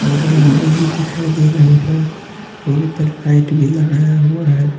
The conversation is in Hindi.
भी दिखाई दे रहे हैं और ऊपर लाइट भी लगाया हुआ है।